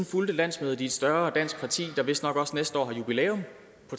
fulgte landsmødet i et større dansk parti der vistnok også næste år har jubilæum